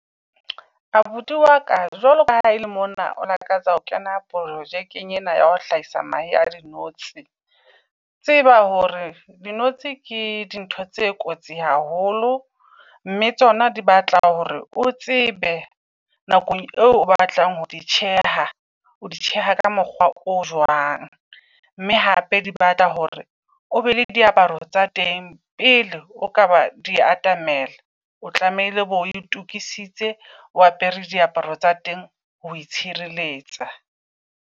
Abuti wa ka, jwalo ka ha e le mona o lakatsa ho kena projekeng ena ya ho hlahisa mahe a dinotshi. Tseba hore dinotshi ke dintho tse kotsi haholo, mme tsona di batla hore o tsebe nakong eo o batlang ho di tjheha, o di tjheha ka mokgwa o jwang. Mme hape di batla hore o be le diaparo tsa teng pele o ka ba di atamela. O tlamehile bo itokisitse, o apere diaparo tsa teng ho itshireletsa.